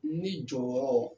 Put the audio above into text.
Ni jɔyɔrɔ